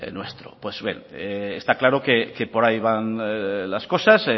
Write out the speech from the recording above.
nuestro pues bien está claro que por ahí van las cosas